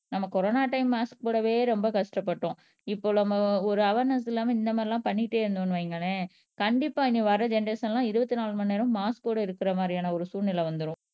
நம்ம corona time mask போடவே ரொம்ப கஷ்டப்பட்டோம் இப்போ நம்ம ஒரு அவார்னஸ் இல்லாம இந்த மாதிரி எல்லாம் பண்ணிட்டே இருந்தோம்னு வைங்களேன் கண்டிப்பா இனி வர ஜெனெரேசன் எல்லாம் இருபத்தி நாலு மணி நேரமும் மாஸ்க்கோட இருக்கிற மாதிரியான ஒரு சூழ்நிலை வந்திரும்